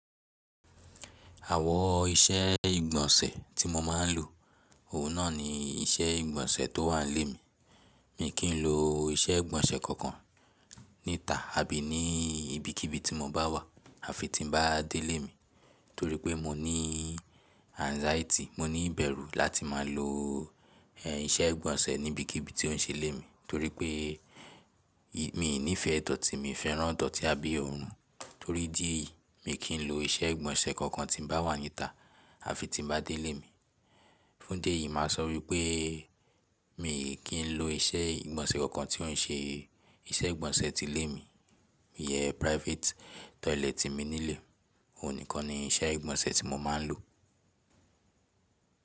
Àwọ iṣẹ́ ìgbọ̀nsẹ̀ tí mo máa ń lò, òun náà ni iṣẹ́ ìgbọ̀nsẹ̀ tó wà lé mi. Mi kì í lo iṣẹ́ ìgbọ̀nsẹ̀ kankan níta àbí ni ibikíbi tí mo bá wà, àfi tí n bá dé lé mi. Torí pé mo ní anxiety, mo ní ìbẹ̀rú láti máa lo, ẹ, iṣẹ́ ìgbọ̀nsẹ̀ níbikíbi tí ó ń ṣe lé mi, torí pé mi ò ní ìfẹ́ tọ̀tì, mi fẹ́ràn tọ̀tì abé orun. Torí dí eyi, mi kì í lo iṣẹ́ ìgbọ̀nsẹ̀ kankan tí n bá wà níta àfi tí n bá dé lé mi. Fún dé ì, mà a sọ pé mi kì í lo iṣẹ́ ìgbọ̀nsẹ̀ kankan tí ò ń ṣe iṣẹ́ ìgbọ̀nsẹ̀ ti lé mi. Yẹ private toilet tí mo nílé, òun nìkan ni iṣẹ́ ìgbọ̀nsẹ̀ tí mo máa ń lò.